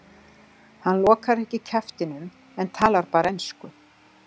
Hann lokar ekki kjaftinum en talar bara ensku.